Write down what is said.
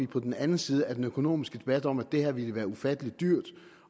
på den anden side af den økonomiske debat om at det her ville være ufattelig dyrt